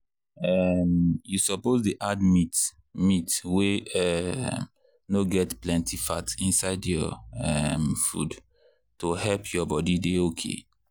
um you suppose dey add meat meat wey um no get plenty fat inside your um food to help your body dey okay.